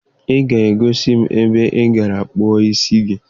Ị ga-egosi m ebe ị gara kpaa isi gị